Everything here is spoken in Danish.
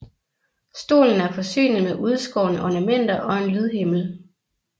Stolen er forsynet med udskårne ornamenter og en lydhimmel